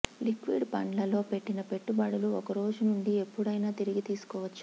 liquid ఫండ్లలో పెట్టిన పెట్టుబడులు ఒక రోజునుంచి ఎప్పుడైనా తిరిగి తీసుకోవచ్చు